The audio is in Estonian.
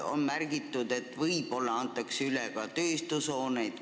On märgitud, et võib-olla antakse üle ka tööstushooneid.